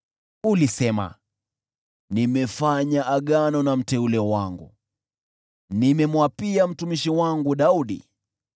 Ulisema, “Nimefanya agano na mteule wangu, nimemwapia mtumishi wangu Daudi,